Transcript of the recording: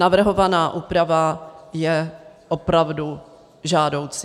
Navrhovaná úprava je opravdu žádoucí.